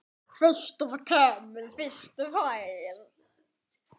Fyrstur kemur, fyrstur fær!